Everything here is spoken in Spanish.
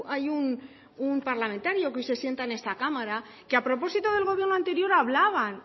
hay un parlamentario que hoy se sienta en esta cámara que a propósito del gobierno anterior hablaban